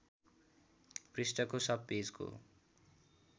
पृष्ठको सब पेजको